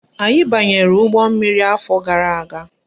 Anyị banyere ụgbọmmiri afọ gara aga.